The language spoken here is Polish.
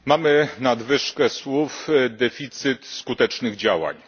Mamy nadwyżkę słów i deficyt skutecznych działań.